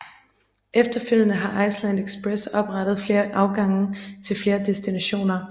Efterfølgende har Iceland Express oprettet flere afgange til flere destinationer